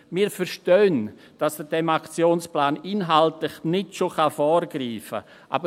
Wir verstehen, dass man diesem Aktionsplan nicht schon inhaltlich vorgreifen kann.